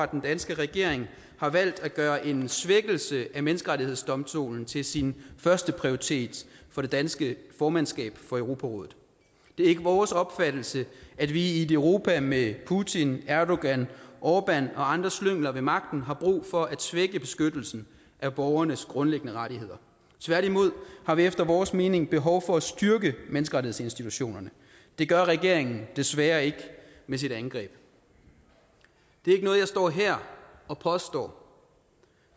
den danske regering har valgt at gøre en svækkelse af menneskerettighedsdomstolen til sin førsteprioritet for det danske formandskab for europarådet det er ikke vores opfattelse at vi i et europa med putin erdogan orbán og andre slyngler ved magten har brug for at svække beskyttelsen af borgernes grundlæggende rettigheder tværtimod har vi efter vores mening behov for at styrke menneskerettighedsinstitutionerne det gør regeringen desværre ikke med sit angreb det er ikke noget jeg står her og påstår